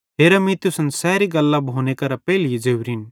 हेरा मीं तुसन सैरी गल्लां भोनेरे पेइले ज़ोरिन